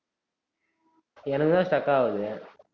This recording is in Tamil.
எனக்குதான் stuck ஆவுது